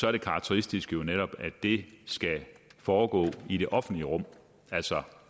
er det karakteristiske jo netop at det skal foregå i det offentlige rum altså